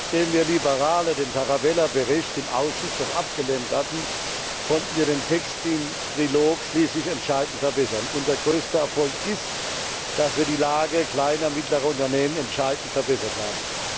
Nachdem wir Liberale den Tarabella Bericht im Ausschuss noch abgelehnt hatten, konnten wir den Text im Trilog schließlich entscheidend verbessern. Unser größter Erfolg ist, dass wir die Lage kleiner und mittlerer Unternehmen entscheidend verbessert haben.